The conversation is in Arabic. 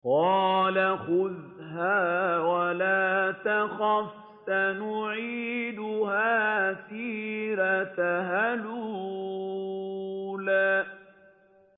قَالَ خُذْهَا وَلَا تَخَفْ ۖ سَنُعِيدُهَا سِيرَتَهَا الْأُولَىٰ